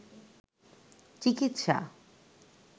চিকিৎসা